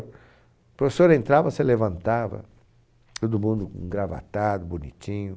O professor entrava, você levantava, todo mundo gravatado, bonitinho.